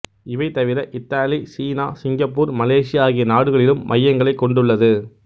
இவை தவிர Italy China Singapore Malaysia ஆகிய நாடுகளிலும் மையங்களைக் கொண்டுள்ளது